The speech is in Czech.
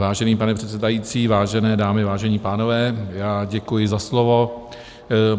Vážený pane předsedající, vážené dámy, vážení pánové, já děkuji za slovo.